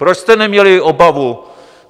Proč jste neměli obavu?